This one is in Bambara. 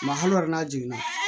Ma holo yɛrɛ n'a jiginna